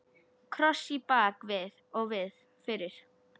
Kross í bak og fyrir.